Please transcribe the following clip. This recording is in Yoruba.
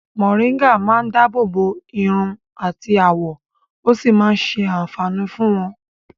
̀Mòrígà máa dábòbò iru àti àwọ̀ ó sì máa ṣé àǹfàní fún wọ́n.